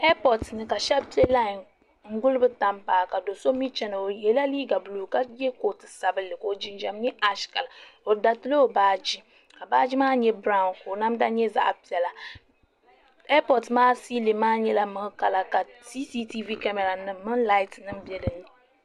ɛipotɛ ni ka shɛba pɛ lani n guli be tam paagi do so mi china o yɛla liga buulu ka yɛ kootu sabinli ka jinjam nyɛ aishɛ kala be daritila o baaji ka baaji maa nyɛ bɛriwu ka namda nyɛ zaɣ' piɛla ɛipotɛ maa silim maa nyɛla milikala ka sisitɛ kamara lati bɛ dinni